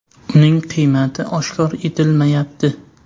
Uning qiymati oshkor etilmayapti.